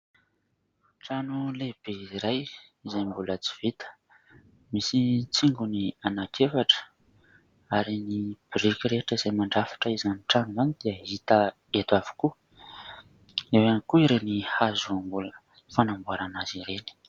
Trano lehibe iray izay mbola tsy vita: misy tsingony anak'efatra ary ny biriky rehetra izay mandrafitra izany trano izany dia hita eto avokoa; eo ihany koa ireny hazo mbola fanamboarana azy ireny.